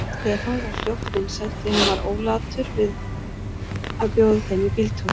Stefán varð fljótt vinsæll, því hann var ólatur að bjóða þeim í bíltúr.